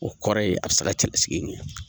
O kɔrɔ ye a be se ka cɛlasigi ɲɛ.